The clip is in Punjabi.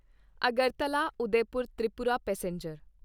ਅਗਰਤਲਾ ਉਦੈਪੁਰ ਤ੍ਰਿਪੁਰਾ ਪੈਸੇਂਜਰ